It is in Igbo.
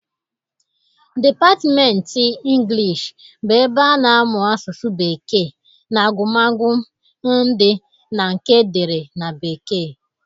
Dipatmenti Ịnglish bụ ebe a na-amụ asụsụ bekee na agụmagụ ndị na nke edere na bekee.